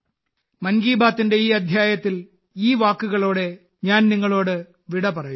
മൻ കി ബാത്തിന്റെ ഈ അധ്യായത്തിൽ ഈ വാക്കുകളോടെ ഞാൻ നിങ്ങളോട് വിടപറയുന്നു